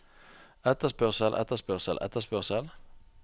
etterspørsel etterspørsel etterspørsel